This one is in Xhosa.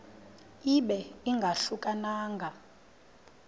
ibe ingahluka nanga